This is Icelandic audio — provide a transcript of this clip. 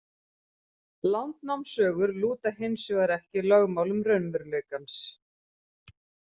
Landnámssögur lúta hins vegar ekki lögmálum raunveruleikans.